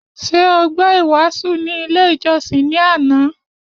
Ṣé o gbọ́ ìwàásù ni ilé ìjọsìn ní àná?